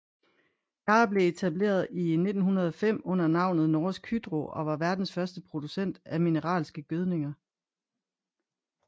Yara blev etableret i 1905 under navnet Norsk Hydro og var verdens første producent af mineralske gødninger